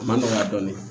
A ma nɔgɔya dɔɔnin